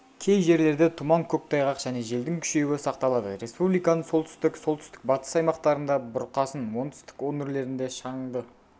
кей жерлерде тұман көктайғақ және желдің күшеюі сақталады республиканың солтүстік солтүстік-батыс аймақтарында бұрқасын оңтүстік өңірлерінде шаңды